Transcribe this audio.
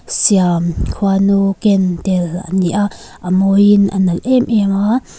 siam khuanu ken tel ani a a mawi in a nalh em em a.